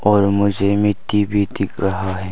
और मुझे मिट्टी भी दिख रहा है।